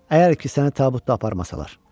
Əgər ki, səni tabutda aparmasalar.